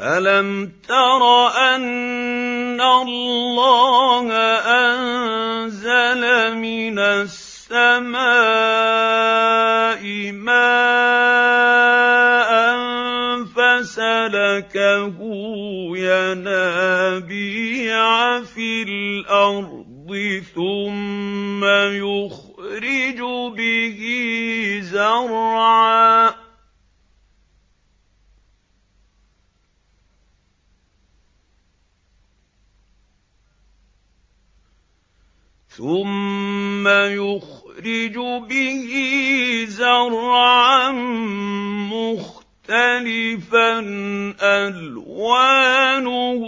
أَلَمْ تَرَ أَنَّ اللَّهَ أَنزَلَ مِنَ السَّمَاءِ مَاءً فَسَلَكَهُ يَنَابِيعَ فِي الْأَرْضِ ثُمَّ يُخْرِجُ بِهِ زَرْعًا مُّخْتَلِفًا أَلْوَانُهُ